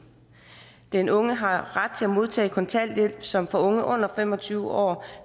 den unge har ret til at modtage kontanthjælp som for unge under fem og tyve år